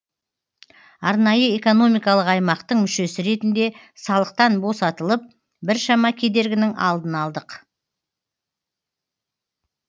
арнайы экономикалық аймақтың мүшесі ретінде салықтан босатылып біршама кедергінің алдын алдық